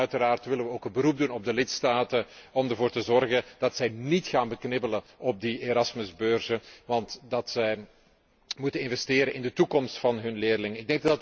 Uiteraard willen we ook een beroep doen op de lidstaten om ervoor te zorgen dat zij níet gaan beknibbelen op die Erasmus beurzen, want dat zij moeten investeren in de toekomst van hun leerlingen.